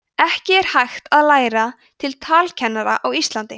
ekki er hægt að læra til talkennara á íslandi